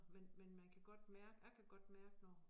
Men men man kan godt mærke jeg kan godt mærke når